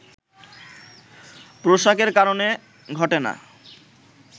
পোশাকের কারণে ঘটে না